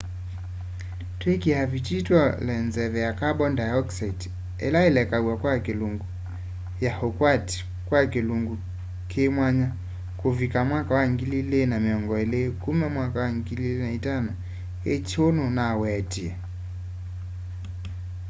twiikia vitii tuole nzeve ya kamboni ndaiokisaiti ila ilekaw'a kwa ilungu ya ukwati kwa kilungu kimwanya kuvikia 2020 kuma 2005 hu nnunawetie